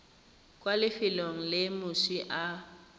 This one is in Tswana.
kwa lefelong le moswi a